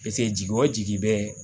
jigi o jigi bɛ